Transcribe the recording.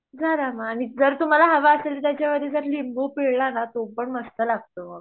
झालं मग आणि जर तुम्हाला हवं असेल त्याच्यावरती जर लिंबू पिळल ना तो पण मस्त लागतो